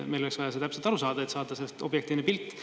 Meil oleks vaja täpselt aru saada, et saada sellest objektiivne pilt.